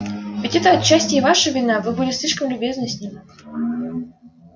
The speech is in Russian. ведь это отчасти и ваша вина вы были слишком любезны с ним